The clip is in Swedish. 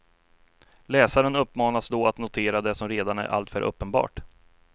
Läsaren uppmanas då att notera det som redan är alltför uppenbart.